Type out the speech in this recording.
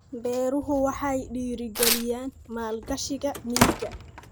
Beeruhu waxay dhiirigeliyaan maalgashiga miyiga.